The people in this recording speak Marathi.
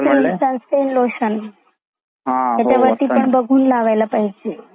सून स्क्रीन लोकेशन त्याचा मध्ये पण बघून लावायला पाहजे.